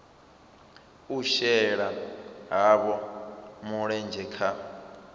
u shela havho mulenzhe kha